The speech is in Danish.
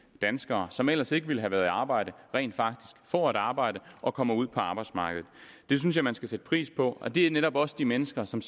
danskere som ellers ikke ville have været i arbejde rent faktisk får et arbejde og kommer ud på arbejdsmarkedet det synes jeg man skal sætte pris på og det er netop også de mennesker som